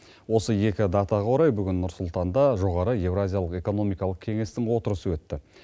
осы екі датаға орай бүгін нұр сұлтанда жоғары еуразиялық экономикалық кеңестің отырысы өтті